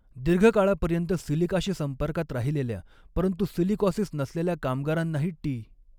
दीर्घकाळापर्यंत सिलिकाशी संपर्कात राहिलेल्या, परंतु सिलिकॉसिस नसलेल्या कामगारांनाही टी.